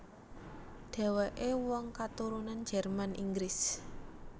Dhèwèké wong katurunan Jerman Inggris